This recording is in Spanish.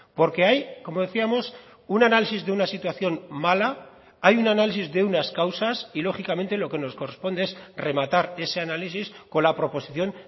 porque hay como decíamos un análisis de una situación mala hay un análisis de unas causas y lógicamente lo que nos corresponde es rematar ese análisis con la proposición